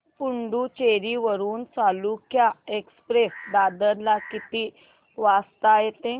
पुडूचेरी वरून चालुक्य एक्सप्रेस दादर ला किती वाजता येते